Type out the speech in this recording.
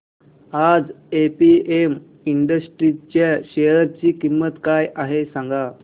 आज APM industries च्या share ची किंमत काय आहे सांगा